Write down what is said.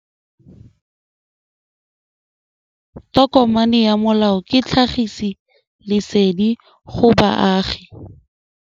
Tokomane ya molao ke tlhagisi lesedi go baagi.